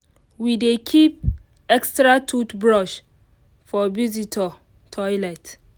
we dey keep extra toothbrush for visitor toilet.